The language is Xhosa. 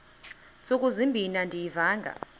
ntsuku zimbin andiyivanga